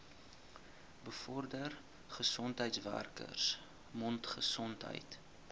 bevorder gesondheidswerkers mondgesondheid